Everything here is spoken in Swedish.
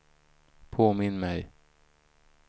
påminn mig